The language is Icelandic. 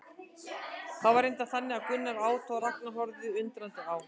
Það var reyndar þannig að Gunnar át og Ragnar horfði undrandi á.